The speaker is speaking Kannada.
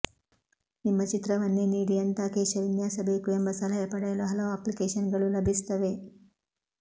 ನಿಮ್ಮ ಚಿತ್ರವನ್ನೇ ನೀಡಿ ಎಂಥ ಕೇಶ ವಿನ್ಯಾಸ ಬೇಕು ಎಂಬ ಸಲಹೆ ಪಡೆಯಲು ಹಲವು ಅಪ್ಲಿಕೇಷನ್ಗಳು ಲಭಿಸುತ್ತವೆ